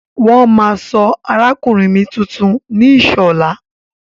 Wọ́n máa sọ arákùnrin mi tuntun ní Ìṣọ̀lá.